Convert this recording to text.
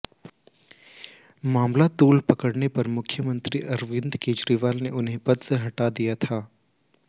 मामला तूल पकड़ने पर मुख्यमंत्री अरविंद केजरीवाल ने उन्हें पद से हटा दिया था